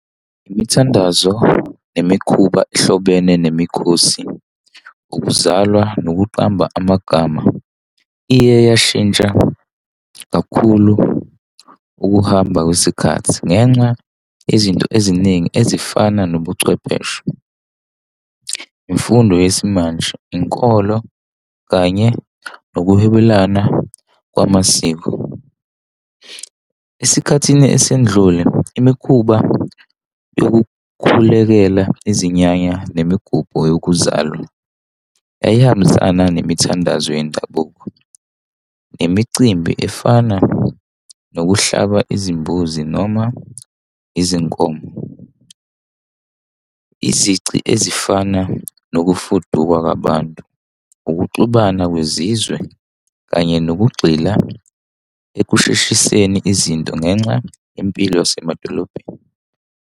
Imithandazo nemikhuba ehlobene nemikhosi. Ukuzalwa nokuqamba amagama iye yashintsha kakhulu ukuhamba kwesikhathi, ngenxa izinto eziningi ezifana nobuchwepheshe. Imfundo yesimanje, inkolo kanye nokuhwebelana kwamasiko. Esikhathini esindlule, imikhuba yokukhulekela izinyanya nemigubho yokuzalwa yayihambisana nemithandazo yendabuko nemicimbi efana nokuhlaba izimbuzi noma izinkomo, izici ezifana nokufuduka kwabantu, ukuxubanisa kwezizwe, kanye nokugxila ekusheshiseni izinto ngenxa yempilo yasemadolobheni.